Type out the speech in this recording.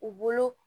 U bolo